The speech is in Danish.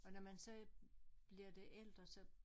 Og når man så bliver det ældre så